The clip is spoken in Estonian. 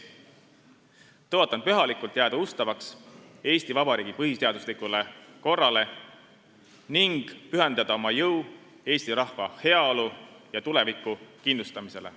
Tõotan pühalikult jääda ustavaks Eesti Vabariigi põhiseaduslikule korrale ning pühendada oma jõu eesti rahva heaolu ja tuleviku kindlustamisele.